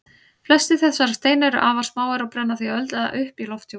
Flestir þessara steina eru afar smáir og brenna því auðveldlega upp í lofthjúpnum.